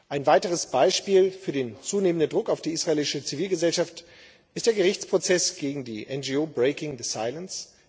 Ein weiteres Beispiel für den zunehmenden Druck auf die israelische Zivilgesellschaft ist der Gerichtsprozess gegen die NGO Breaking the Silence.